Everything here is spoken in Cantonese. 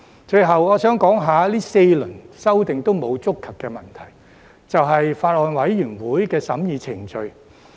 最後，我想說說這4輪修訂均沒有觸及的問題，就是法案委員會的審議程序。